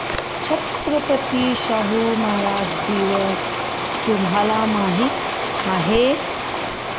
छत्रपती शाहू महाराज दिवस तुम्हाला माहित आहे